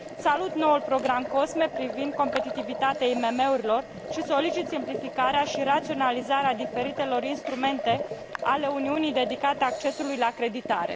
Salut noul program COSME privind competitivitatea IMM urilor și solicit simplificarea și raționalizarea diferitelor instrumente ale Uniunii dedicate accesului la creditare.